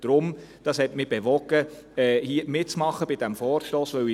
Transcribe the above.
Dies hat mich dazu bewogen, bei diesem Vorstoss mitzumachen.